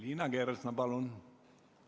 Liina Kersna, palun!